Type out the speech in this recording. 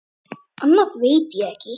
Annað veit ég ekki.